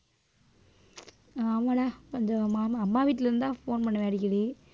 ஆமாடா கொஞ்சம் மாமா அம்மா வீட்டுல இருந்து தான் phone பண்ணவே அடிக்கடி